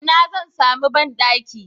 A ina zan sami banɗaki?